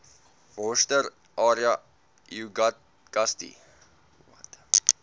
worcester area uagasti